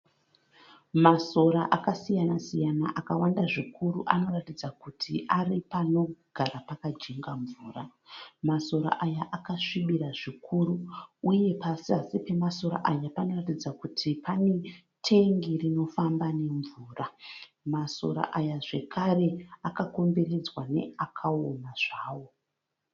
Masora akasiyana-siyana akawanda zvikuru anoratidza kuti ari panogara pakajenga mvura. Masora aya akasvibira zvikuru uye pazasi pemasora aya panoratidza kuti pane tengi rinofamba nemvura. Masora aya zvekare akakomberedzwa neakaoma zvawo.